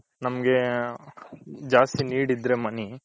ನಮ್ಗೆ ಜಾಸ್ತಿ need ಇದ್ರೆ money